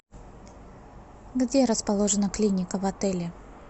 где расположена клиника в отеле